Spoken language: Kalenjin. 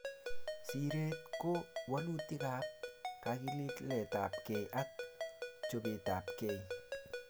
Siiret ko walutikap kakiletapkei ak chopetapkei